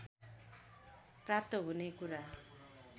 प्राप्त हुने कुरा